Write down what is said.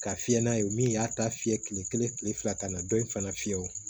Ka fiyɛ n'a ye min y'a ta fiyɛ kile kelen kile fila kana dɔ in fana fiyɛ o